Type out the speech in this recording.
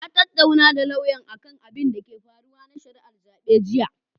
Na tattaunawa da lauyan akan abinda ke faruwa na shari'ar zaɓe jiya.